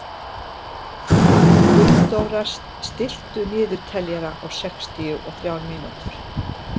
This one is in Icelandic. Gunndóra, stilltu niðurteljara á sextíu og þrjár mínútur.